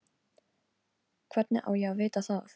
Hvernig á ég að vita það?